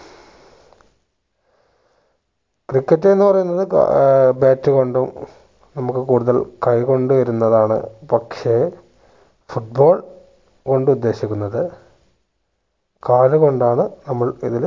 cricket എന്ന് പറയുന്നത് ഏർ bat കൊണ്ടും നമ്മക്ക് കൂടുതൽ കൈ കൊണ്ട് വരുന്നതാണ് പക്ഷെ foot ball കൊണ്ട് ഉദ്ദേശിക്കുന്നത്‌ കാലുകൊണ്ടാണ് നമ്മൾ ഇതില്